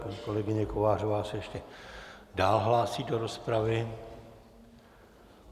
Paní kolegyně Kovářová se ještě dál hlásí do rozpravy.